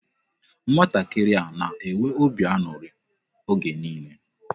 Nwatakịrị a na-enwe obi aṅụrị oge niile.